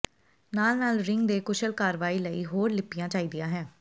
ਨਾਲ ਨਾਲ ਰਿੰਗ ਦੇ ਕੁਸ਼ਲ ਕਾਰਵਾਈ ਲਈ ਹੋਰ ਲਿੱਪਿਆ ਚਾਹੀਦਾ ਹੈ